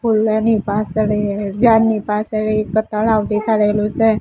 હોલ્લાની પાસળ એ ઝાડની પાસળ એ એક તળાવ દેખાડેલું સે.